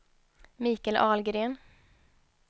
Michael Ahlgren